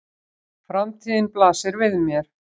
Framtíðin blasir við mér.